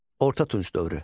Orta Tunc dövrü.